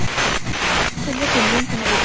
Kveðja, þín vinkona Íris.